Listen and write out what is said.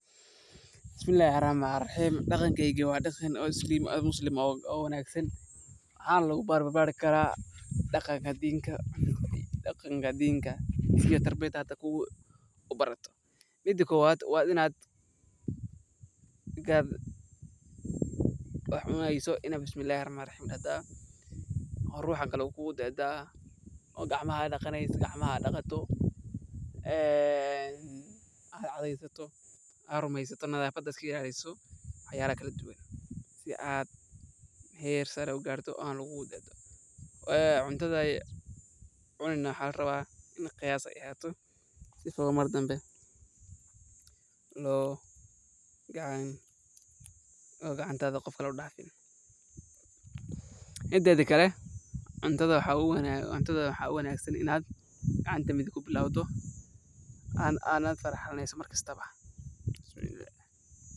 Bismillahi rahmani rahiim, dhaqankeygi wa dhaqanka oo muslim oo wanagsan, waxaa na lagu bar baaari karaa dhaqanka diinka. Midi koowad waa inad marka aad wax cuneeyso waa inad bisinka ku bilaawda. Canjeeradu waxay leedahay dhadhan jilicsan oo macaan, malawaxna waa mid aad u shiilaha badan oo subag iyo malab ku jira, halka rootigu uu yahay mid cagaaran oo qalalan hadii la shiiday si fiican. Dhadhanka nooc kasta waxaa saameeya qummanimada malabka, cuntada lagu daro, iyo habka lagu kariyo. Tusaale ahaan, canjeerada oo lagu cuno subag iyo malab waxay noqon kartaa mid macaan oo jilicsan, halka malawaxu uu yahay mid aad u shiilan oo dhadhan fiican leh marka lagu daro digir ama sonkor.